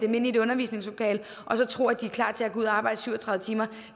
dem ind i et undervisningslokale og så tro at de er klar til at gå ud og arbejde syv og tredive timer